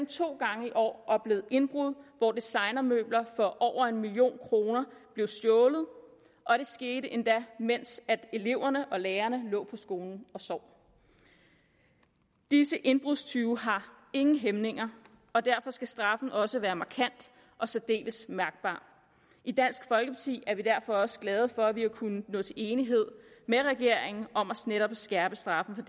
to gange i år oplevet indbrud hvor designermøbler for over en million kroner er blevet stjålet og det skete endda mens eleverne og lærerne lå på skolen og sov disse indbrudstyve har ingen hæmninger og derfor skal straffen også være markant og særdeles mærkbar i dansk folkeparti er vi derfor også glade for at vi har kunnet nå til enighed med regeringen om at skærpe straffen for